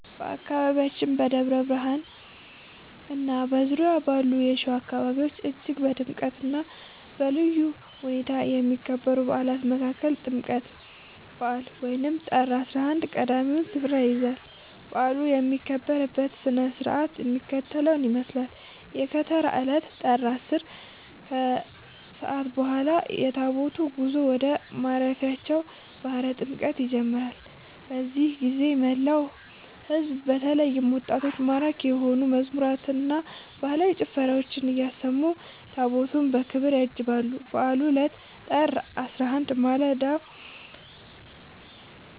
በአካባቢያችን በደብረ ብርሃንና በዙሪያው ባሉ የሸዋ አካባቢዎች እጅግ በድምቀትና በልዩ ሁኔታ ከሚከበሩ በዓላት መካከል የጥምቀት በዓል (ጥር 11) ቀዳሚውን ስፍራ ይይዛል። በዓሉ የሚከበርበት ሥነ ሥርዓት የሚከተለውን ይመስላል፦ የከተራ ዕለት (ጥር 10)፦ ከሰዓት በኋላ የታቦታቱ ጉዞ ወደ ማደሪያቸው (ባሕረ ጥምቀቱ) ይጀምራል። በዚህ ጊዜ መላው ሕዝብ በተለይም ወጣቶች ማራኪ የሆኑ መዝሙራትንና ባህላዊ ጭፈራዎችን እያሰሙ ታቦታቱን በክብር ያጅባሉ። የበዓሉ ዕለት (ጥር 11)፦ በማለዳው